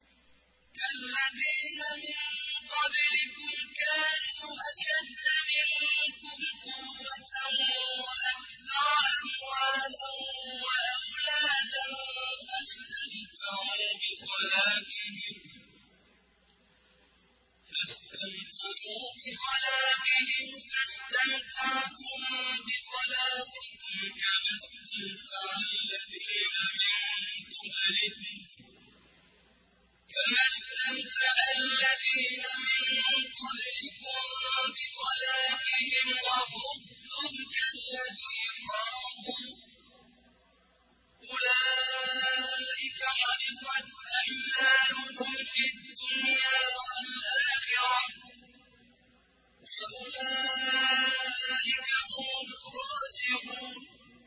كَالَّذِينَ مِن قَبْلِكُمْ كَانُوا أَشَدَّ مِنكُمْ قُوَّةً وَأَكْثَرَ أَمْوَالًا وَأَوْلَادًا فَاسْتَمْتَعُوا بِخَلَاقِهِمْ فَاسْتَمْتَعْتُم بِخَلَاقِكُمْ كَمَا اسْتَمْتَعَ الَّذِينَ مِن قَبْلِكُم بِخَلَاقِهِمْ وَخُضْتُمْ كَالَّذِي خَاضُوا ۚ أُولَٰئِكَ حَبِطَتْ أَعْمَالُهُمْ فِي الدُّنْيَا وَالْآخِرَةِ ۖ وَأُولَٰئِكَ هُمُ الْخَاسِرُونَ